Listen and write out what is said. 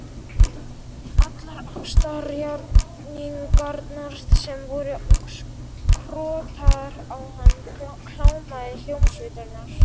Allar ástarjátningarnar sem voru krotaðar á hann, klámið, hljómsveitirnar.